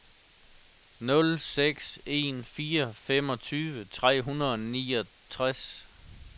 nul seks en fire femogtyve tre hundrede og niogtres